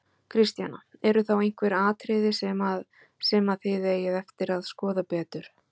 Kristjana: Eru þá einhver atriði sem að, sem að þið eigið eftir að skoða betur?